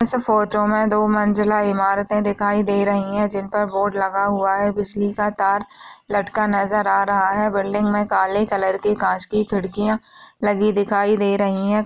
इस फोटो में दो मंजिला इमारतें दिखाई दे रहीं हैं जिनपर बोर्ड लगा हुआ है बिजली का तार लटका नज़र आ रहा है बिल्डिंग में काले कलर की कांच की खिड़कियां लगी दिखाई दे रहीं हैं।